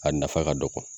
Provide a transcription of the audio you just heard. A nafa ka dɔgɔ